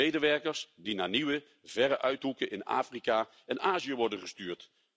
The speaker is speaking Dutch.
Medewerkers die naar nieuwe verre uithoeken in Afrika en Azië worden gestuurd.